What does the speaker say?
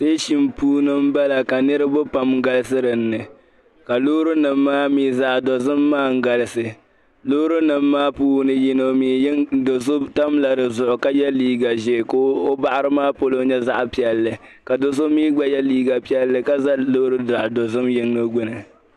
Steshiŋ puuni n bala. kanirib pam galisi dinni ka lɔɔri nim maami zaɣi dozim maa n galisi, lɔɔri nim maa mi puuni yiŋga. doso tamla di zuɣu ka ye liiga zɛɛ ka o baɣri maa polo nyɛ zaɣi piɛli ka do' so mi gba ye liiga piɛli ka zɛ lɔɔri zaɣdozim yiŋga gbuni. .